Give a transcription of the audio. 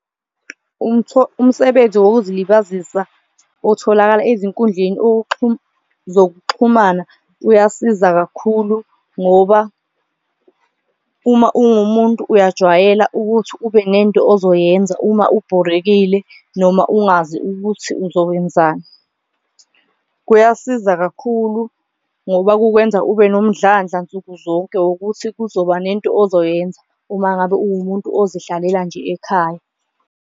Umsebenzi wokuzilibazisa utholakala ezinkundleni zokuxhumana uyasiza kakhulu ngoba uma ungumuntu uyajwayela ukuthi ube nento ozoyenza, uma ubhorekile noma ungazi ukuthi uzokwenzani. Kuyasiza kakhulu ngoba kukwenza ube nomdlandla nsuku zonke ukuthi kuzoba nento ozoyenza uma ngabe uwumuntu ozihlelela nje ekhaya.